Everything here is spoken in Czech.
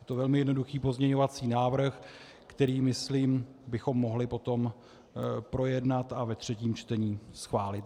Je to velmi jednoduchý pozměňovací návrh, který, myslím, bychom mohli potom projednat a ve třetím čtení schválit.